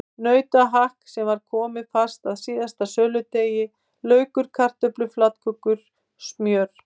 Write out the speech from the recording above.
Nautahakk sem var komið fast að síðasta söludegi, laukur, kartöflur, flatkökur, smjör.